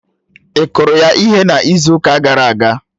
Ị kụrụ ya ihe n'izu ụka gara aga?